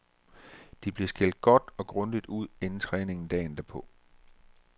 De blev skældt godt og grundigt ud inden træningen dagen derpå.